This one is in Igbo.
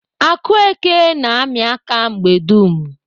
Akueke na-amị aka mgbe dum.